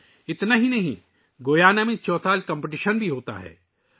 یہی نہیں گیانا میں چوتل مقابلے بھی منعقد کئے جاتے ہیں